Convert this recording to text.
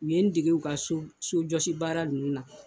U ye n dege u ka sojɔsi baara ninnu na